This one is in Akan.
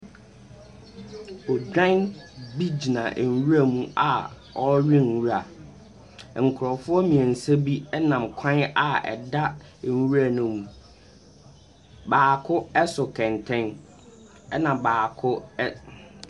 Odwan bi gyina nwura mu a ɔrewe nwura, nkurɔfoɔ mmiɛnsa bi nam kwan a ɛda nwura ne mu, baako so kɛntɛn na baako ɛs .